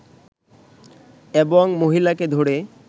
এবং মহিলাকে ধরে